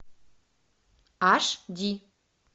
аш ди